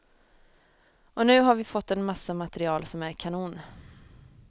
Och nu har vi fått en massa material som är kanon.